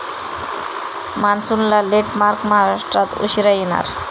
मान्सूनला लेटमार्क, महाराष्ट्रात उशिरा येणार!